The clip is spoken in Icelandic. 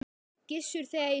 Gissur, þegar ég sagði þetta.